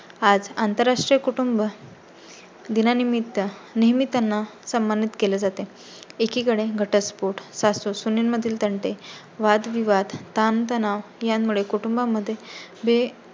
आज आंतरराष्ट्रीय कुटुंब दिनानिमित्त नेहमी त्यांना सम्मानित केले जाते. एकिकडे घटस्फोट सासू-सुने मधील तंटे, वाद-विवाद, ताणतणाव यामुळे कुटुंबा मध्ये हे